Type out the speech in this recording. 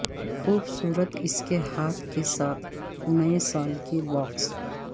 خوبصورت اس کے ہاتھ کے ساتھ نئے سال کے باکس